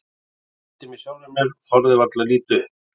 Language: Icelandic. Ég brosti með sjálfri mér og þorði varla að líta upp.